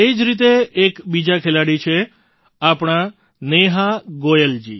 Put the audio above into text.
આ જ રીતે એક બીજાં ખેલાડી છે આપણાં નેહા ગોયલજી